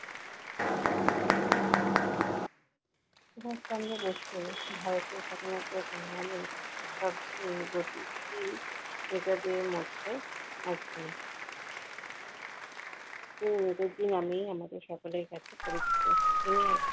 সুভাষ চন্দ্র বসু ভারতের স্বাধীনতার সংগ্রামে সবচেয়ে গতিশীল নেতাদের মধ্যে একজন। তিনি নেতাজি নামেই আমাদের সকলের কাছে পরিচিত। তিনি এক